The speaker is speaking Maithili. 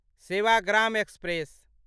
सेवाग्राम एक्सप्रेस